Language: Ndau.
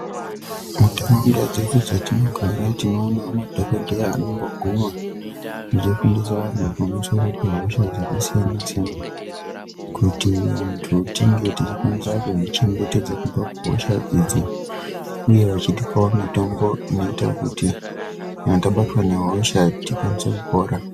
Muntaraunda dzedu dzetinogara tinoona madhokodheya anomboguma achifundisa vantu pamusoro pehosha dzakasiyana-siyana kuti vantu tinge tichikwanisa kuzvichengetedza kubva kuhosha idzi uye vachitipawo mitombo inoita kuti kana tabatwa nehosha tikwanise kupora.